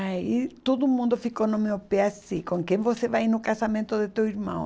Aí todo mundo ficou no meu pé assim, com quem você vai ir no casamento de teu irmão?